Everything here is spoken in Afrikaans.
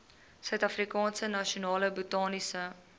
suidafrikaanse nasionale botaniese